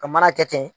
Ka mana kɛ ten